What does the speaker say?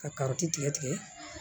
Ka karɔti tigɛ tigɛ